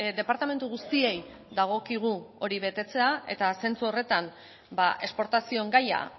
departamentu guztiei dagokigu hori betetzea eta zentzu horretan esportazioen gaia